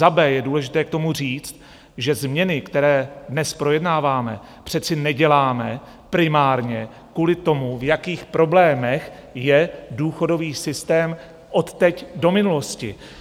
Za B je důležité k tomu říct, že změny, které dnes projednáváme, přece neděláme primárně kvůli tomu, v jakých problémech je důchodový systém odteď do minulosti.